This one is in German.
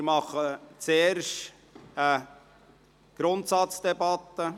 Wir führen zuerst eine Grundsatzdebatte.